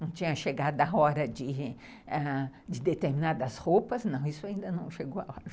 Não tinha chegado à hora de determinar das roupas, não, isso ainda não chegou à hora.